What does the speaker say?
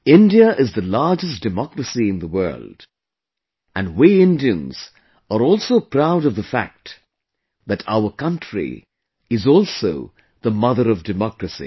India is the largest democracy in the world and we Indians are also proud of the fact that our country is also the Mother of Democracy